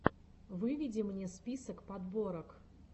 выведи мне список подборок